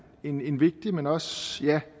en vigtig men også ja